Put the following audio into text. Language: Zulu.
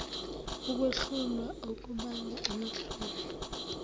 ukwehlulwa okubanga amahloni